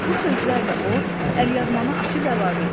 Bu sözlərlə o, əlyazmanı açıb əlavə etdi.